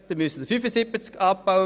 3 Prozent davon wären 75 Stellen.